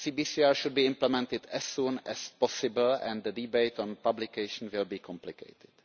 CBCR should be implemented as soon as possible and the debate on publication will be complicated.